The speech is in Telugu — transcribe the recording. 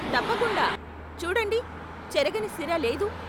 తప్పకుండా, చూడండి, చెరగని సిరా లేదు.